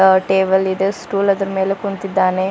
Table ಇದೆ stool ಅದರ ಮೇಲೆ ಕುಂತಿದ್ದಾನೆ.